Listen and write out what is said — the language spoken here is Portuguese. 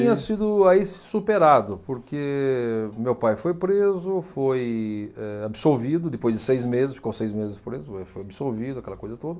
Tinha sido aí se superado, porque meu pai foi preso, foi eh absolvido depois de seis meses, ficou seis meses preso, depois foi absolvido, aquela coisa toda.